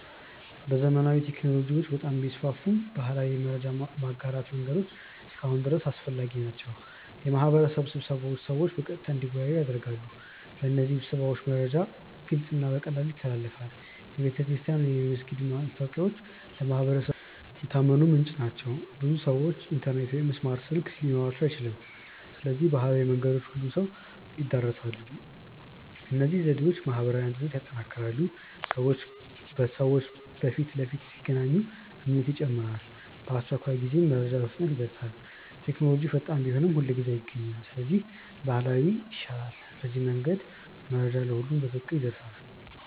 ዘመናዊ ቴክኖሎጂዎች በጣም ቢስፋፉም ባህላዊ የመረጃ ማጋራት መንገዶች እስካሁን ድረስ አስፈላጊ ናቸው። የማህበረሰብ ስብሰባዎች ሰዎችን በቀጥታ እንዲወያዩ ያደርጋሉ። በእነዚህ ስብሰባዎች መረጃ ግልጽ እና በቀላሉ ይተላለፋል። የቤተክርስቲያን ወይም የመስጊድ ማስታወቂያዎች ለማህበረሰቡ የታመነ ምንጭ ናቸው። ብዙ ሰዎች ኢንተርኔት ወይም ስማርት ስልክ ሊኖራቸው አይችልም። ስለዚህ ባህላዊ መንገዶች ሁሉንም ሰው ይድረሳሉ። እነዚህ ዘዴዎች ማህበራዊ አንድነትን ያጠናክራሉ። ሰዎች በፊት ለፊት ሲገናኙ እምነት ይጨምራል። በአስቸኳይ ጊዜም መረጃ በፍጥነት ይደርሳል። ቴክኖሎጂ ፈጣን ቢሆንም ሁልጊዜ አይገኝም። ስለዚህ ባህላዊ እና ዘመናዊ ዘዴዎች አብረው መጠቀም ይሻላል። በዚህ መንገድ መረጃ ለሁሉም በትክክል ይደርሳል።